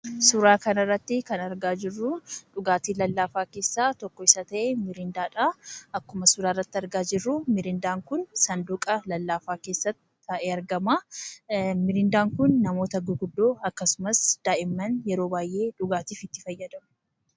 Suuraa kana irratti kan argaa jirru dhugaatii lallaafaa keessaa tokko kan ta'e, "Miriindaa" dha. Akkuma argamu Miriindaan kun sanduqa lallaafaa keessatti taa'ee argama. Miriindaan kun namoota gurguddaa akkasumas daa'imman yeroo baay'ee dhugaatiif itti fayyadamu.